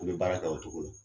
U be baara kɛ o cogo la.